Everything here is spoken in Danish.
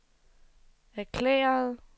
erklærede